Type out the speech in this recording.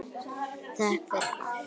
Þökk fyrir allt.